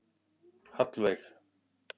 Hallveig